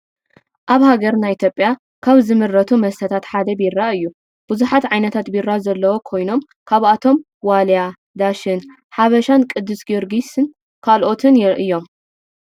አብ ሃገርና ኢትየጲያ ካብ ዝምረቱ መስተታት ሓደ ቢራ እዩ ።ብዛሓት ዓይነታት ቢራ ዘለዎ ኮይኖም ካብአቶም ዋልያ፤ ዳሽን፤ ሓበሻን፤ ቅድስ ገርግስ ካልኦትን እዮም ።